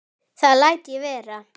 Það læt ég vera